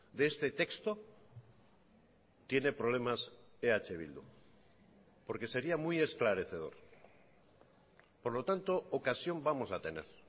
de este texto tiene problemas eh bildu por que sería muy esclarecedor por lo tanto ocasión vamos a tener